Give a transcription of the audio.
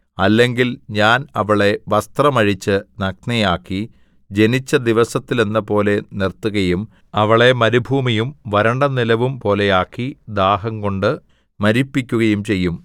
അല്ലെങ്കിൽ ഞാൻ അവളെ വസ്ത്രം അഴിച്ച് നഗ്നയാക്കി ജനിച്ച ദിവസത്തിലെന്നപോലെ നിർത്തുകയും അവളെ മരുഭൂമിയും വരണ്ടനിലവും പോലെ ആക്കി ദാഹംകൊണ്ട് മരിപ്പിക്കുകയും ചെയ്യും